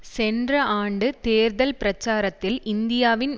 சென்ற ஆண்டு தேர்தல் பிரசாரத்தில் இந்தியாவின்